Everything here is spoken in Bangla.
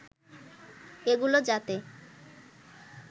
এগুলো যাতে